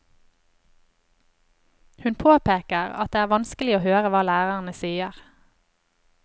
Hun påpeker at det er vanskelig å høre hva lærerne sier.